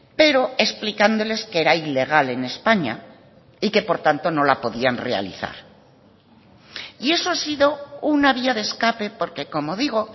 pero explicándoles que era ilegal en españa y que por tanto no la podían realizar y eso ha sido una vía de escape porque como digo